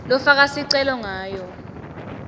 lofaka sicelo kanye